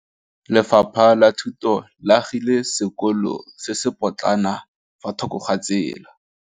Lefapha la Thuto le agile sekôlô se se pôtlana fa thoko ga tsela.